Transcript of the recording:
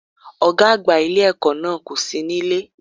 Ògá àgbà ilé èkó náà kò sí nílé